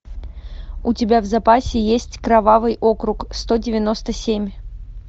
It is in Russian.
у тебя в запасе есть кровавый округ сто девяносто семь